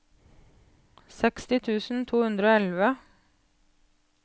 seksti tusen to hundre og elleve